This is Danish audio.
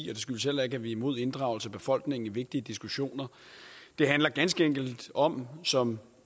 det skyldes heller ikke at vi er imod inddragelse af befolkningen i vigtige diskussioner det handler ganske enkelt om som